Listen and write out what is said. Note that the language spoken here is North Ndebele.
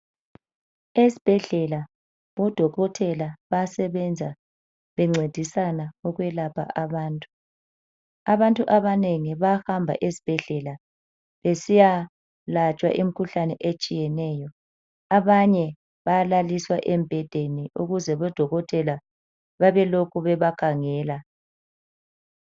Esibhedlela odokotela bayasebenza bencedisana ukwelapha abantu, abantu abanengi bahamba esibhedlela besiyalatshwa imikhuhlane etshiyeneyo abanye bayalaliswa embhedeni ukuze odokotela bebelokhu bebakhangela